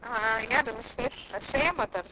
ಹಾ ಯಾರು ಶ್ರೇಯ ಶ್ರೇಯ ಮಾತಾಡ್ತಿರುದ?